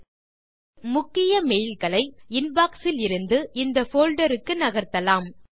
இப்போது முக்கிய மெயில் களை இன்பாக்ஸ் இலிருந்து இந்த போல்டர் க்கு நகர்த்தலாம்